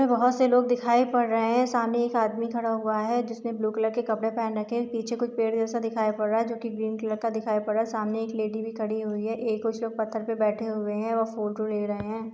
बहुत से लोग दिखाई पर रहे है सामने एक आदमी खड़ा हुआ है जिसने ब्लू कलर के कपडे पहन रखे है पीछे कुछ पेड़ जैसा दिखाई पर रहा है जो कि ग्रीन कलर का दिखाई पर रहा है सामने एक लेडी भी खड़ी हुई है एक कुछ लोग पत्थर पर बैठे हुए है और फोटो ले रहे है।